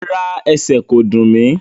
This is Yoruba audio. Rárá, ẹsẹl kò dún mí.